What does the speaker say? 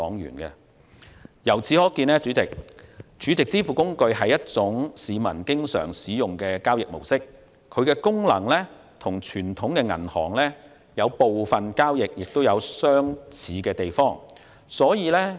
主席，由此可見 ，SVF 是市民經常使用的交易模式，其功能與傳統銀行的部分交易有相似之處。